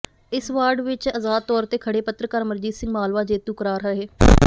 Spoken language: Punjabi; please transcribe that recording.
ਇਸ ਵਾਰਡ ਵਿੱਚ ਆਜ਼ਾਦ ਤੌਰ ਤੇ ਖੜ੍ਹੇ ਪੱਤਰਕਾਰ ਅਮਰਜੀਤ ਸਿੰਘ ਮਾਲਵਾ ਜੇਤੂ ਕਰਾਰ ਰਹੇ